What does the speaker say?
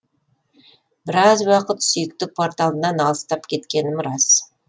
біраз уақыт сүйікті порталымнан алыстап кеткенім рас